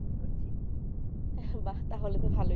তা হলে তো ভালোই